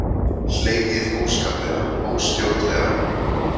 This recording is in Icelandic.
Hlegið óskaplega, óstjórnlega.